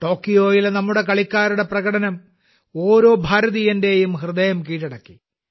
ടോക്കിയോയിലെ നമ്മുടെ കളിക്കാരുടെ പ്രകടനം ഓരോ ഭാരതീയന്റെയും ഹൃദയം കീഴടക്കി